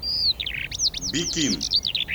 бикин